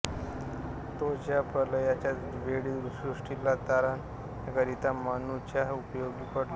तोच या प्रलयाच्या वेळी सृष्टीला तारण्याकरिता मनूच्या उपयोगी पडला